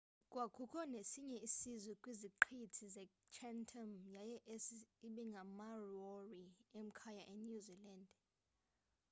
kwakukho nesinye isizwe kwiziqithi zechatham yaye esi ibingamamaori emkayo enew zealand